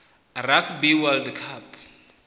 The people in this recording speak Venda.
rugby world cup